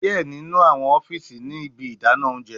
Diẹ ninu awọn ọfiisi ni ibi idana ounjẹ